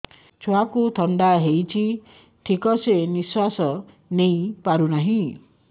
ଛୁଆକୁ ଥଣ୍ଡା ହେଇଛି ଠିକ ସେ ନିଶ୍ୱାସ ନେଇ ପାରୁ ନାହିଁ